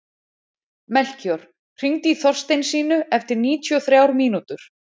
Melkíor, hringdu í Þorsteinsínu eftir níutíu og þrjár mínútur.